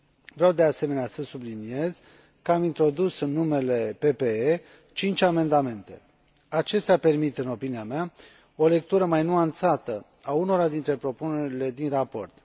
Vreau, de asemenea, să subliniez că am introdus în numele PPE cinci amendamente. Acestea permit, în opinia mea, o lectură mai nuanțată a unora dintre propunerile din raport.